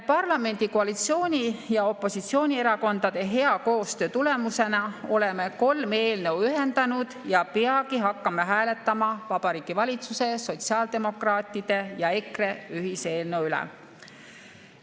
Parlamendi koalitsiooni‑ ja opositsioonierakondade hea koostöö tulemusena oleme kolm eelnõu ühendanud ja peagi hakkame hääletama Vabariigi Valitsuse, sotsiaaldemokraatide ja EKRE ühiseelnõu üle.